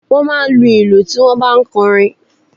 Wọ́n máa ń lu ìlù tí wọ́n ń bá ń kọ orin.